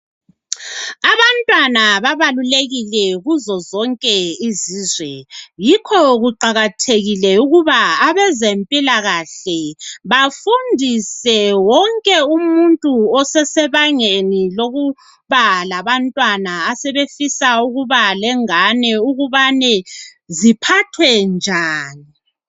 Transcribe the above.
Abantwana babalulekile kuzo zonke izizwe. Yikho kuqakathekile, ukuba abezempilakahle, bafundise wonke umuntu osesebangeni lokuba labantwana, asebefisa ukuba lengane ukubane, ziphathwe njani.